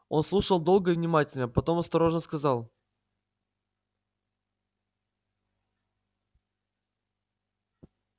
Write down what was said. он слушал долго и внимательно потом осторожно сказал